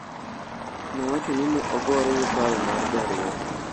Nowacho ni ne ogore gi paro mar derruok.